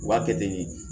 U b'a kɛ ten de